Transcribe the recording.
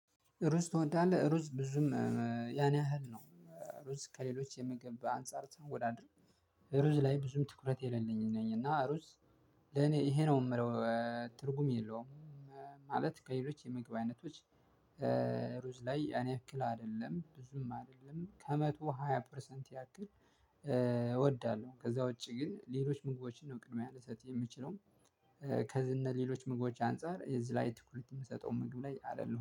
ሩዝ ትወዳለህ? ሩዝ ብዙም ያን ያህል ነው። ሩዝ ከሌሎች የምገባ አንፃር ሲወዳደር ሩዝ ላይ ብዙም ትኩረት የሌለኝ ነኝ እና ሩዝ። ለኔ ይሄ ነው የምለው። ትርጉም የለውም። ማለት ከሌሎች የመግባት አይነቶች። ሩዝ ላይ ያንያክል አይደለም ብዙም አይደለም ከመቶ ሃያ ፐርሰንት ያክል እወዳለሁ። ከዛ ውጪ ግን ሌሎች ምግቦችን ነው ቅድሚያ ልሰጥ የምችለው። ከዝህ ሌሎች ምግቦች አንፃር የዚህ ላይ ትኩረት የምሰጠው ምግብ ላይ አይደለሁም